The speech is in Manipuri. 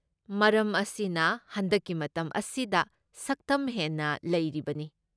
ꯃꯔꯝ ꯑꯁꯤꯅ ꯍꯟꯗꯛꯀꯤ ꯃꯇꯝ ꯑꯁꯤꯗ ꯁꯛꯇꯝ ꯍꯦꯟꯅ ꯂꯩꯔꯤꯕꯅꯤ꯫